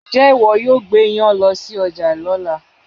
Ǹjẹ́ ìwọ yóò gbé iyán lọ sí ọjà lọ́la?